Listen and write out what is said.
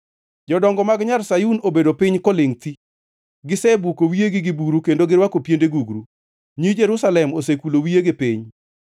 Jodongo mag nyar Sayun, obedo piny kolingʼ thi, gisebuko wiyegi gi buru kendo girwako piende gugru. Nyi Jerusalem osekulo wiyegi piny.